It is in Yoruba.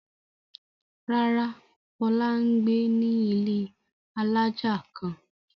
Rárá, Fọlá ń gbé ní ilé alájà kan.